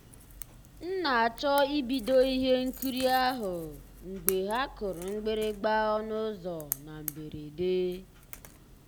m na-àchọ́ ìbìdó ihe nkírí ahụ́ mgbe ha kùrù mgbị̀rị̀gbà ọnụ́ ụ́zọ́ na mbèredè.